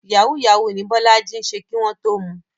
Yahoo yahoo ní Bọ́lájí ń ṣe kí wọ́n tó mu.